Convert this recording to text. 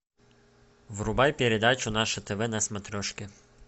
врубай передачу наше тв на смотрешке